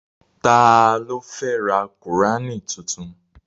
Ta ló fẹ́ ra qùránì tuntun?